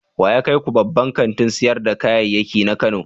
Wa ya kai ku babban kantin sayar da kayayyaki na Kano?